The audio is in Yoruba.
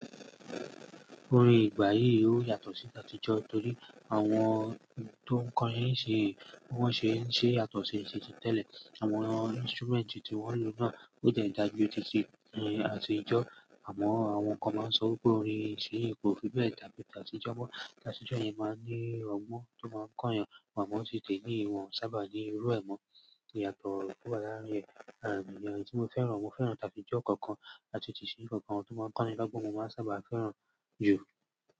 Orin ìgbà yìí ó yàtọ̀ sí t'àtijọ́ torí àwọn tó ń kọrin nsinyí, bi wọ́n ṣe ń ṣe yàtọ̀ sì titi tẹ́lẹ̀. Àwọn instrument tí wọ́n lò náà ó tiẹ̀ dáajú titi àtijọ́. Àmọ́ àwọn kan máa ń sọ pé orin ìṣinyi kò fi bẹ́ẹ̀ dàbí tàtìjọ́ mọ́. Tàtìjọ́ yẹn máa ń ní ọgbọn tó máa ń kọ́'yan, àmó tí tèní yii ìwọ̀n sábà ní irú ẹ̀ mọ́ ìyàtọ̀ tó wá láàárín ẹ̀. Àríyá tí mo fẹ́ràn, mo fẹ́ràn tàtìjọ́ kookan àti t'ìṣinyi kookan tó máa ń kọ́ni lógbon, mo máa n sábà fẹ́ràn jù.